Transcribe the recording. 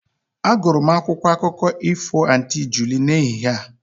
Agụrụ m akwụkwọ akụkọ ifo Aunty Julie n'ehihie a